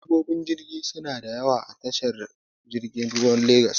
Direbobin jirgi suna da yawa a tashar jirgin ruwan legas.